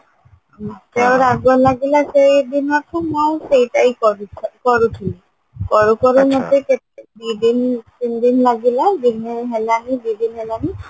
ମତେ ଆଉ ରାଗ ଲାଗିଲା ସେଇ ଦିନଠୁ ମୁଁ ଆଉ ସେଇଟା ହି କରୁଚି କରୁହତିଲି କରୁ କରୁ ମତେ ଦି ଦିନ ତିନି ଦିନ ଲାଗିଲା ଦିନେ ହେଲାନି ଦି ଦିନ ହେଲାନି